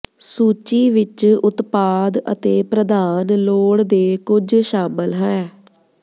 ਸੂਚੀ ਵਿੱਚ ਉਤਪਾਦ ਅਤੇ ਪ੍ਰਧਾਨ ਲੋੜ ਦੇ ਕੁਝ ਸ਼ਾਮਲ ਹੈ